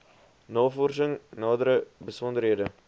navorsing nadere besonderhede